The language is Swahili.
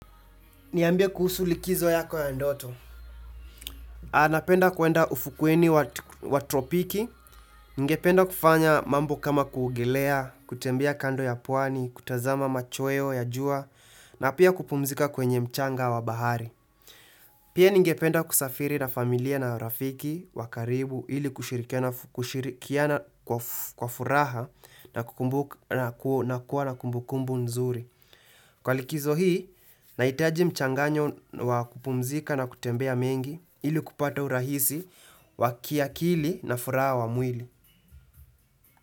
Niambie kuhusu likizo yako ya ndoto. Anapenda kuenda ufukweni wa tropiki. Ningependa kufanya mambo kama kuogelea, kutembia kando ya pwani, kutazama machweo ya jua, na pia kupumzika kwenye mchanga wa bahari. Pia ningependa kusafiri na familia na rafiki wa karibu, ili kushirikiana kwa furaha, na kukumbuka na kuwa na kumbukumbu nzuri. Kwa likizo hii, nahitaji mchanganyo wa kupumzika na kutembea mengi ili kupata urahisi wakiakili na furaha wa mwili.